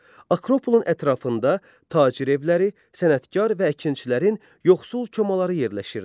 Akropolun ətrafında tacir evləri, sənətkar və əkinçilərin yoxsul komaları yerləşirdi.